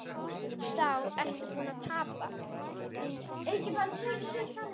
Þá ertu búinn að tapa.